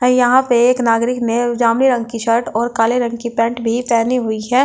है यहां पे एक नागरिक ने जामुनी रंग की शर्ट और काले रंग की पेंट भी पहनी हुई है ओ--